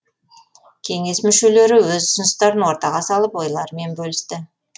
кеңес мүшелері өз ұсыныстарын ортаға салып ойларымен бөлісті